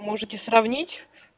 можете сравнить